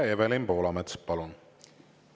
Evelin Poolamets, palun!